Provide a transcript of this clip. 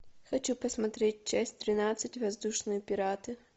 хочу посмотреть часть тринадцать воздушные пираты